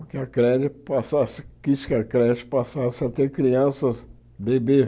Porque a creche passasse quis que a creche passasse a ter crianças bebê.